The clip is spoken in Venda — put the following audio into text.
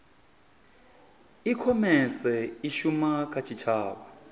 ikhomese i shuma kha tshitshavha